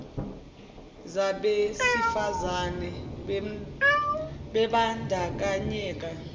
zabesi fazane bembandakanyeka